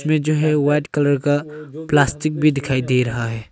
में जो है वाइट कलर का प्लास्टिक भी दिखाई दे रहा है।